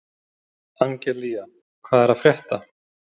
Angelía, hvað er að frétta?